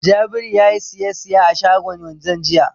Jabiru ya yi sisiya a shagon wanzan jiya.